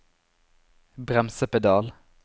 bremsepedal